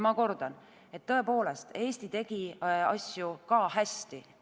Ma kordan, tõepoolest, Eesti tegi asju ka hästi.